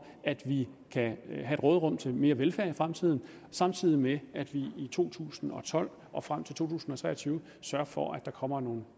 at vi kan have et råderum til mere velfærd i fremtiden samtidig med at vi i to tusind og tolv og frem til to tusind og tre og tyve sørger for at der kommer nogle